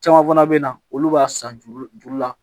Caman fana bɛ na olu b'a san juru juru la